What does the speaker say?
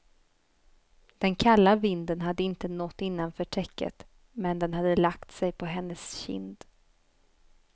Den kalla vinden hade inte nått innanför täcket, men den hade lagt sig på hennes kind.